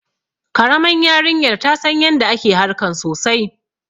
Karaman yarinyar ta San yanda ake harkan sosai.